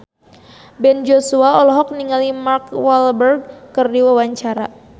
Ben Joshua olohok ningali Mark Walberg keur diwawancara